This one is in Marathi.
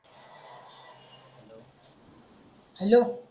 हॅलो